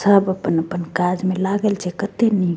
सब अपन-अपन काज में लागल छे कते नी --